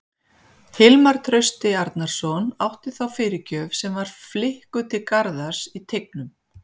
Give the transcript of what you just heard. Hilmar Trausti Arnarsson átti þá fyrirgjöf sem var flikkuð til Garðars í teignum.